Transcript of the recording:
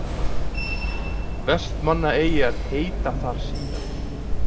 vestmannaeyjar heita þar síðan